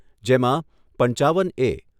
જેમાં પંચાવન એ.